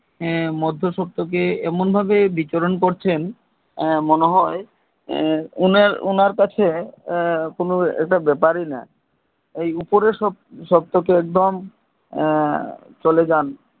মধ্যে সত্ব কে এমন ভাবে বিচরণ করছেন মনে হয় উনার উনার কাছে কোনো একটা ব্যাপারই না এই উপরে সত্ব কে একদম চলে যান